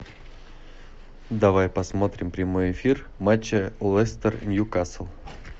давай посмотрим прямой эфир матча лестер ньюкасл